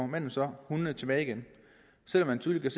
manden så hundene tilbage igen selv om man tydeligt